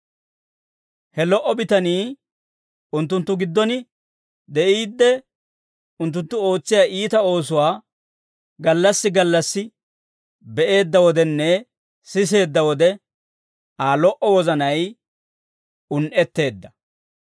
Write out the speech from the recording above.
He lo"o bitanii unttunttu giddon de'iidde, unttunttu ootsiyaa iita oosuwaa gallassi gallassi be'eedda wodenne siseedda wode Aa lo"o wozanay un"etteedda.